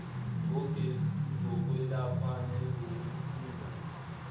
ngogesi zokwelapha nezokuhlinza